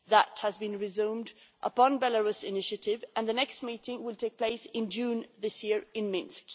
That has been resumed upon Belarus' initiative, and the next meeting will take place in June this year in Minsk.